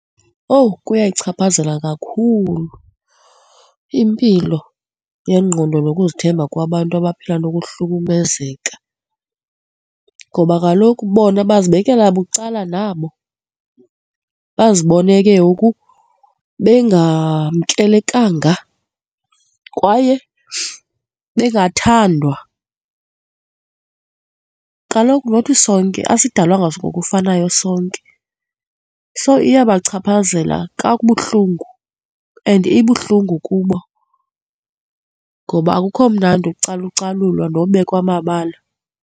Owu! Kuyayichaphazela kakhulu impilo yengqondo nokuzithemba kwabantu abaphila ngokuhlukumezeka ngoba kaloku bona bezibekele bucala nabo, bazibone ke ngoku bengamkelekanga kwaye bengathandwa. Kaloku nothi sonke, esidalwanga ngokufanayo sonke. So iyabachaphazela kabuhlungu and ibuhlungu kubo ngoba akukho mnandi ucalucalulwa nobekwa amabala.